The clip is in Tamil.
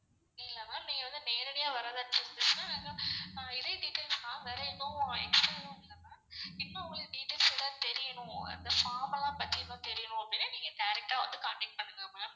இல்ல ma'am நீங்க வந்து நேரடியா வரதா இருந்துச்சுனா இதே details தான் வேற எதுவும் extra எதுவும் இல்ல ma'am. இன்னும் உங்களுக்கு details ஏதாவது தெரியனும் அந்த form எல்லாம் பத்தி இன்னும் தெரியனும் அப்படினா நீங்க direct ஆ வந்து contact பண்ணுங்க ma'am.